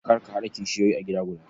Kar ka haɗa kishiyoyi a gida guda.